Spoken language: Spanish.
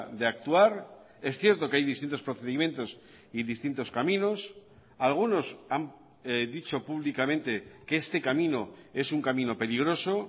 de actuar es cierto que hay distintos procedimientos y distintos caminos algunos han dicho públicamente que este camino es un camino peligroso